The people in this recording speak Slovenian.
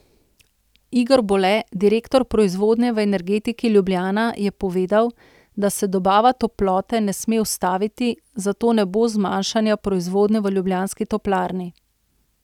Igor Bole, direktor proizvodnje v Energetiki Ljubljana, je povedal, da se dobava toplote ne sme ustaviti, zato ne bo zmanjšanja proizvodnje v ljubljanski toplarni.